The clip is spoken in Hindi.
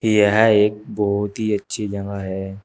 यह एक बहुत ही अच्छी जगह है।